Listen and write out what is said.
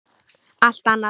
Allt annað!